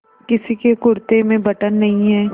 किसी के कुरते में बटन नहीं है